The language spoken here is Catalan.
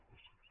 gràcies